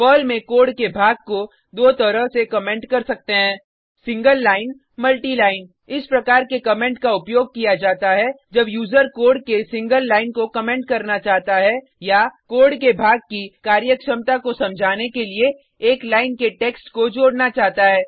Perl में code के भाग को दो तरह से कमेंट कर सकते हैं single line single line multi line multi line इस प्रकार के कमेंट का उपयोग किया जाता है जब यूजर कोड के सिंगल लाइन को कमेंट करना चाहता है या कोड के भाग की कार्यक्षमता को समझाने के लिए एक लाइन के टेक्स्ट को जोडना चाहता है